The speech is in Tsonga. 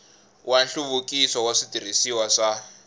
wa nhluvukiso wa switirhisiwa swa